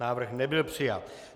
Návrh nebyl přijat.